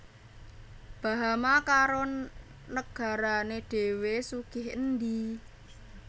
Bahama karo negarane dhewe sugih endi